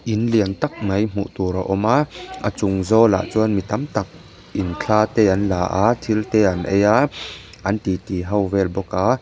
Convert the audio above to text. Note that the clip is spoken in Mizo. in lian tak mai hmuh tur a awm a a chung zawlah chuan mi tam tak in thla te an la a thil te an ei a an titi ho vel bawk a.